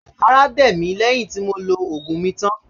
Ará dẹ̀ mí lẹ́yìn tí mo lo ògùn mi tán